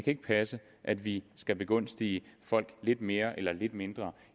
ikke passe at vi skal begunstige folk lidt mere eller lidt mindre